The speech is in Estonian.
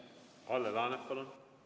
Kalle Laanet, palun!